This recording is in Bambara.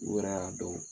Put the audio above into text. U yɛrɛ y'a dɔn